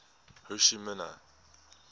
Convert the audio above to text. ho chi minh